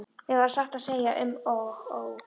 Mér varð satt að segja um og ó.